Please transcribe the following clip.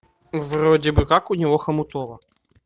вроде бы как у него хомутово